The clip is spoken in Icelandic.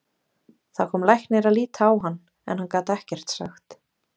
Það kom læknir að líta á hann en hann gat ekkert sagt.